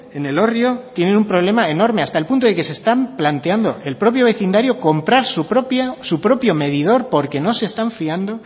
en elorrio tienen un problema enorme hasta el punto que se está planteando el propio vecindario comprara su propio medidor porque no se están fiando